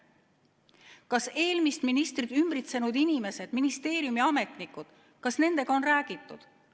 Kas eelmist ministrit ümbritsenud inimeste, ministeeriumi ametnikega on räägitud?